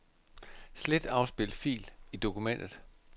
Slet afspil fil i dokumentet.